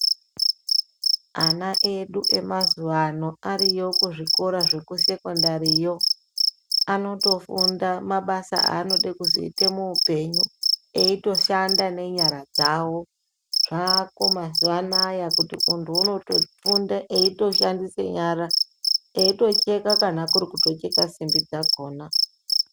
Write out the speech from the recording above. Ana edu emazuvaano ariyo kuzvikora zvekusekondari iyoo anotofunda mabasa aanodekuzoita muhupenyu ,eyitoshanda nenyara dzavo. Zvaako mazuvaanaya kuti untu unotofunda eyitoshandise nyara dzavo eyitocheka ,kurikutocheka simbi dzakona.